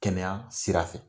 Kɛnɛya sira fɛ.